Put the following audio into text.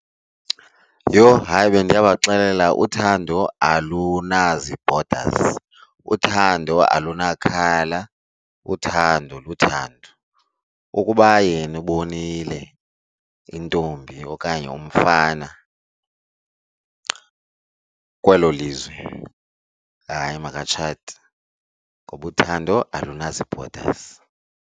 Yho! Hayi bendiya kubaxelela uthando alunazi-borders, uthando alunakhala, uthando luthando. Ukuba yena ubonile intombi okanye umfana kwelo lizwe, hayi makatshate ngoba uthando olunazi-borders.